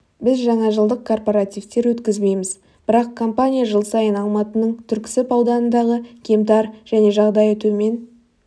біз жаңа жылдық корпаративтер өткізбейміз бірақ компания жыл сайын алматының түркісіб ауданындағы кемтар және жаңдайы төмен